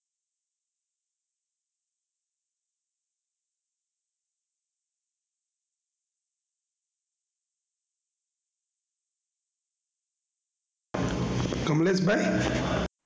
કમલેશ ભાઈ.